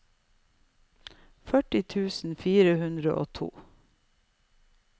førti tusen fire hundre og to